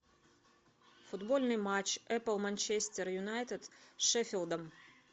футбольный матч апл манчестер юнайтед с шефилдом